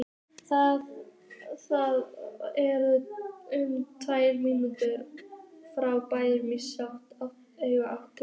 Það er um tvær mílur frá bænum í austurátt.